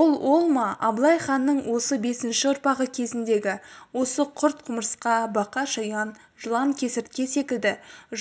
ол ол ма абылай ханның осы бесінші ұрпағы кезіндегі осы құрт-құмырсқа бақа-шаян жылан-кесіртке секілді